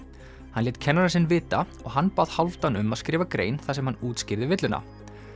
hann lét kennarann sinn vita og hann bað Hálfdán um að skrifa grein þar sem hann útskýrði villuna